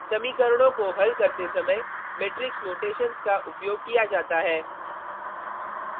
समीकरणों को हल करते समय मेट्रिक्स नोटेशन्स का उपयोग किया जाता है